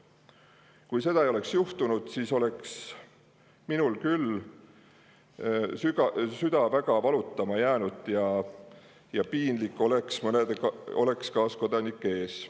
Kui seda ei oleks, siis oleks minul küll süda valutama jäänud ja oleks piinlik kaaskodanike ees.